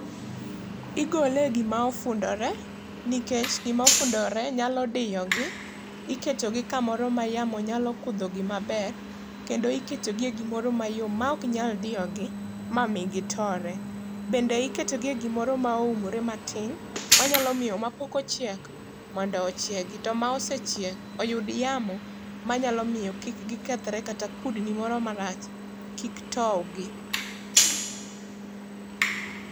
Igole e gima ofundore nikech gimofundore nyalo diyogi, iketogi kamoro mayamo nyalo kudhogi maber kendo iketogi e gimoro mayom maok nyal diyogi, mami gitore. Bende iketogi e gimoro ma oumore matin, manyalo miyo mapok ochiek mondo ochiegi to ma osechiek oyud yamo manyalo miyo kik gikethre kata kudni moro marach kik towgi.